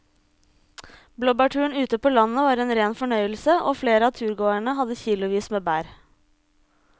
Blåbærturen ute på landet var en rein fornøyelse og flere av turgåerene hadde kilosvis med bær.